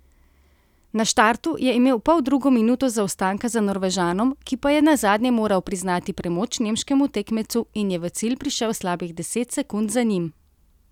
Na štartu je imel poldrugo minuto zaostanka za Norvežanom, ki pa je nazadnje moral priznati premoč nemškemu tekmecu in je v cilj prišel slabih deset sekund za njim.